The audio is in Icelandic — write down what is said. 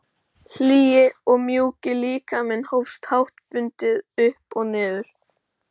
Hlýi og mjúki líkaminn hófst háttbundið upp og niður.